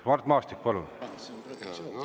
Mart Maastik, palun!